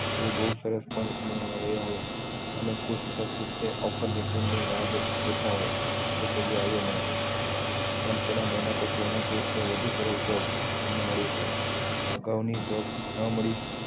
એ બહુ સરસ પણ એ હોય અને offer letter ની રાહ હોતા હોય જે કદી આવ્યું ન હોય પણ થોડા મહિના પછી એના એ થી વધુ સરસ job એમે મળી રેહશે job ના મળી